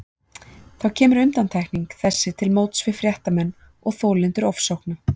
Þá kemur undantekning þessi til móts við fréttamenn og þolendur ofsókna.